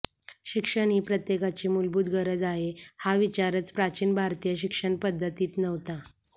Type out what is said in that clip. शिक्षण ही प्रत्येकाची मूलभूत गरज आहे हा विचारच प्राचीन भारतीय शिक्षणपद्धतीत नव्हता